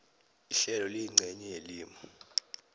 ihlelo liyincenye yelimi